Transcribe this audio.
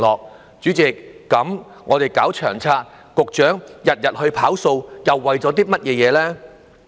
代理主席，我們搞《長策》，局長日日"跑數"，又為了甚麼呢？